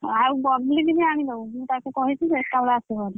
ଆଉ ବବଲୀ କି ବି ଆଣିଦବ ମୁଁ ତାକୁ କହିଛି ଯେ ଏକାବେଳେ ଆସିବ ବାହାରି।